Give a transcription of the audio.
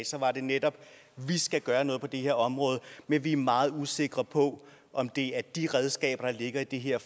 sagde var det netop at vi skal gøre noget på det her område men vi er meget usikre på om det er de redskaber der ligger i det her